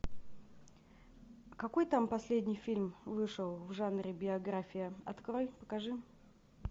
какой там последний фильм вышел в жанре биография открой покажи